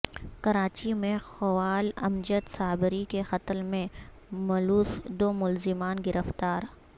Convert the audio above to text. کراچی میں قوال امجد صابری کے قتل میں ملوث دو ملزمان گرفتار